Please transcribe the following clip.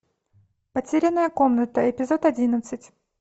потерянная комната эпизод одиннадцать